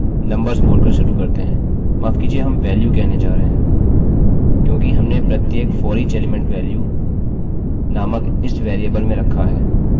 माफ़ कीजिये हम वेल्यू कहने जा रहे हैं क्योंकि हमने प्रत्येक foreach एलीमेंट वेल्यूvalue नामक इस वेरिएबल में रखा है